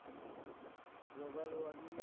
global warming A